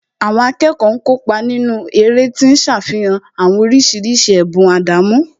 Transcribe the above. Àwọn akẹ́kọ̀ọ́ ń kópa nínú eré tí ń ṣàfihàn àwọn oríṣiríṣi ẹ̀bùn àdámọ́